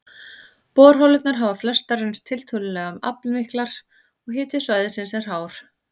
Borholurnar hafa flestar reynst tiltölulega aflmiklar, og hiti svæðisins er hár.